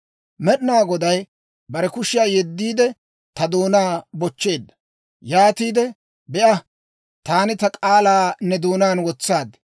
Med'inaa Goday bare kushiyaa yeddiide, ta doonaa bochcheedda. Yaatiide, «Be'a; taani ta k'aalaa ne doonaan wotsaad.